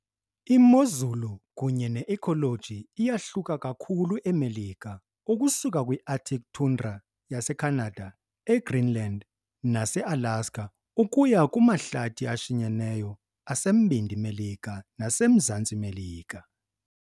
Imozulu kunye ne-ecology iyahluka kakhulu eMelika, ukusuka kwi-arctic tundra yaseCanada, eGreenland, naseAlaska, ukuya kumahlathi ashinyeneyo aseMbindi Melika naseMzantsi Melika.